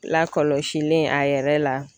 Lakɔlɔsilen a yɛrɛ la